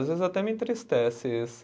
Às vezes até me entristece isso.